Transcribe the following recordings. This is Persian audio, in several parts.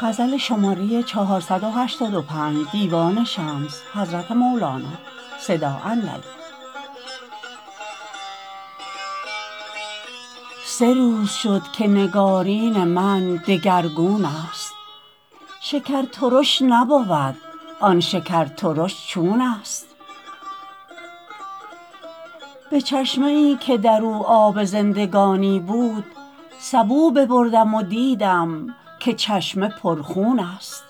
سه روز شد که نگارین من دگرگون ست شکر ترش نبود آن شکر ترش چون ست به چشمه ای که در او آب زندگانی بود سبو ببردم و دیدم که چشمه پرخون ست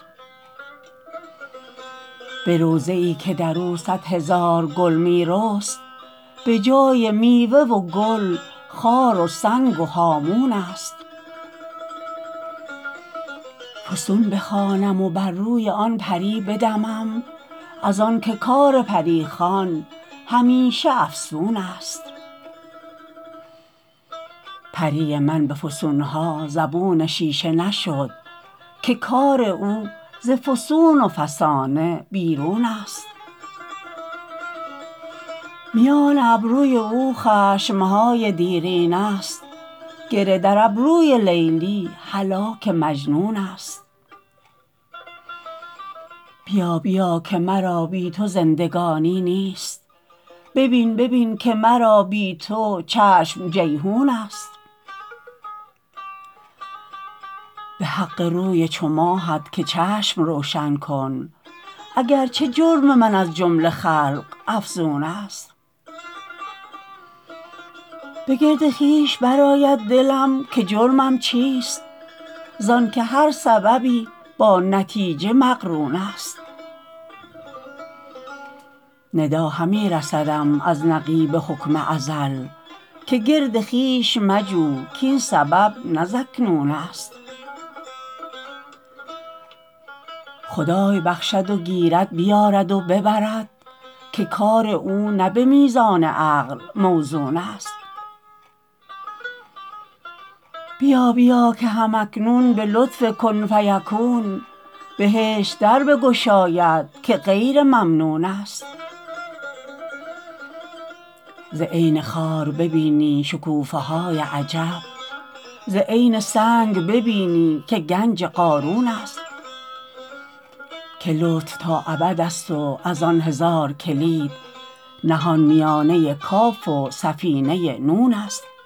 به روضه ای که در او صد هزار گل می رست به جای میوه و گل خار و سنگ و هامون ست فسون بخوانم و بر روی آن پری بدمم از آنک کار پری خوان همیشه افسون ست پری من به فسون ها زبون شیشه نشد که کار او ز فسون و فسانه بیرون ست میان ابروی او خشم های دیرینه ست گره در ابروی لیلی هلاک مجنون ست بیا بیا که مرا بی تو زندگانی نیست ببین ببین که مرا بی تو چشم جیحون ست به حق روی چو ماهت که چشم روشن کن اگر چه جرم من از جمله خلق افزون ست به گرد خویش برآید دلم که جرمم چیست از آنک هر سببی با نتیجه مقرون ست ندا همی رسدم از نقیب حکم ازل که گرد خویش مجو کاین سبب نه زاکنون ست خدای بخشد و گیرد بیارد و ببرد که کار او نه به میزان عقل موزون ست بیا بیا که هم اکنون به لطف کن فیکون بهشت در بگشاید که غیر ممنون ست ز عین خار ببینی شکوفه های عجیب ز عین سنگ ببینی که گنج قارون ست که لطف تا ابد ست و از آن هزار کلید نهان میانه کاف و سفینه نون ست